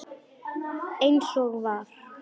Eins og var.